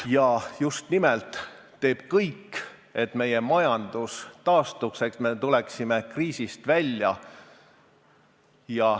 ... ja just nimelt teeb kõik, et meie majandus taastuks, et me tuleksime kriisist välja.